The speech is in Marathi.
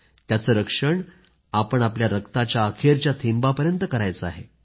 त्याचं रक्षण आपण आपल्या रक्ताच्या अखेरच्या थेंबापर्यंत करायचे आहे